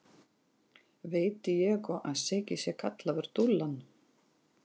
Veit Diego að Siggi sé kallaður Dúllan?